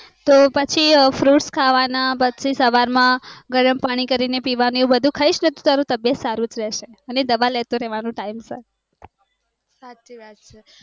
તો પછી fruits ખાવાના, પછી સવાર માં ગરમ પાણી કરીને પીવાનું એવું ખાઈશને તો તારું તબિયત સારૂ જ રેશે અને દવા લેતું રેવાનું time સર